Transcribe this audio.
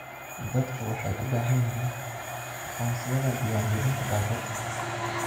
Dadku waxay u baahan yihiin aqoonsiyada diiwaangelinta baabuurta.